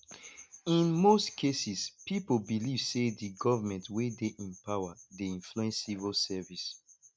in most cases pipo believe sey di government wey dey in power dey influence civil service